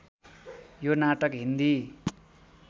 यो नाटक हिन्दी